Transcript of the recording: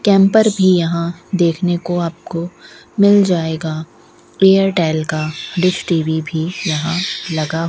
camper भी यहां देखने को आपको मिल जाएगा एयरटेल का डिश टी_वी भी यहां लगा --